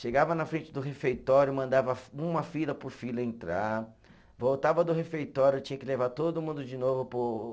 Chegava na frente do refeitório, mandava uma fila por fila entrar, voltava do refeitório, tinha que levar todo mundo de novo para o